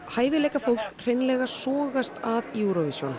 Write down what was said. hæfileika fólk hreinlega sogast að Eurovision